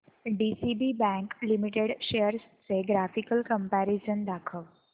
DCB bank limited shares चे graphical comparison दाखव